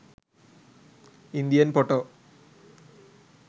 indian photo